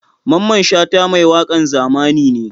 Mamman Shata mai wakan zamani ne?